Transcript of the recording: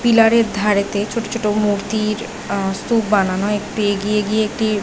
pillar এর ধারেতে ছোট ছোট মূর্তির অ স্তুপ বানানো একটু এগিয়ে গিয়ে একটি --